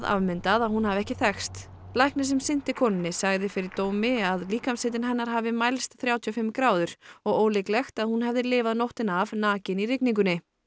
afmyndað að hún hafi ekki þekkst læknir sem sinnti konunni sagði fyrir dómi að líkamshiti hennar hafi mælst þrjátíu og fimm gráður og ólíklegt að hún hefði lifað nóttina af nakin í rigningunni